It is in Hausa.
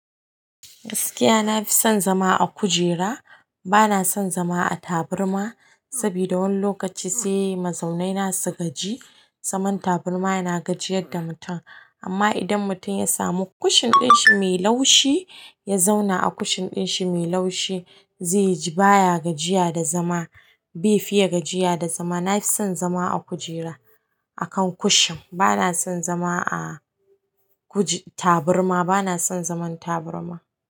Gaskiya, na fi son zama a kujera. Bana son zama a taburma saboda wani lokaci sai mazaina na su gaji. Zaman taburma yana gajiyar da mutum amma idan mutum ya samu kushin ɗin shi mai laushi, ya zauna a kushin ɗin shi mai laushi, zai ji baya gajiya da zama. Bai fiye gajiya da zama. Na fi son zama a kujera, a kan kushin. Bana son zama a kuji-- taburma. Bana son zaman taburma.